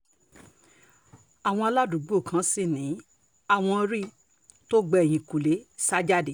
àwọn aládùúgbò kan sì ni àwọn rí i tó gba ẹ̀yìnkùlé sá jáde